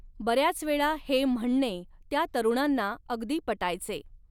बर्याचवेळा हे म्हणणे त्या तरुणांना अगदी पटायचे.